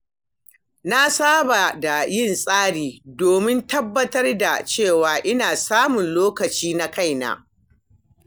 Na saba da yin tsari domin tabbatar da cewa ina samun lokaci na kaina.